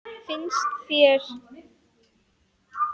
Finnst þér?